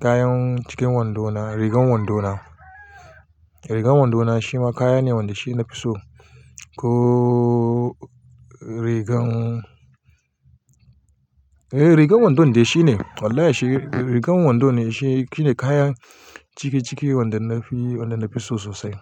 kayan cikin wando na, rigan wando na. Rigan wando na shi ma kaya ne wanda shi na fi so. Ko rigan, eh rigan wando ne shi ne wallahi shi rigan wando ne shi shine kayan cikiciki wanda na fi, wanda na fi so sosai.